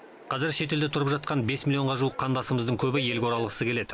қазір шетелде тұрып жатқан бес миллионға жуық қандасымыздың көбі елге оралғысы келеді